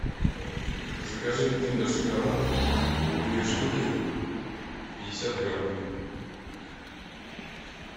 закажи киндер шоколад две штуки пятьдесят грамм